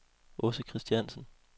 Aase Christiansen